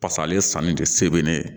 Paseke ale sanni tɛ se bɛ ne ye